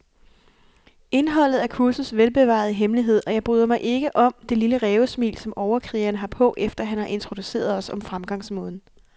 Indholdet er kursets velbevarede hemmelighed, og jeg bryder mig ikke om det lille rævesmil, som overkrigeren har på, efter han har introduceret os om fremgangsmåden.